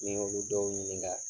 Ni n y'olu dɔw ɲininka